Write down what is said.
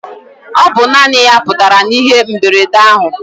Ọ bụ naanị ya putara na ihe mberede ahụ.